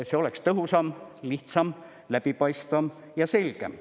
See oleks tõhusam, lihtsam, läbipaistvam ja selgem.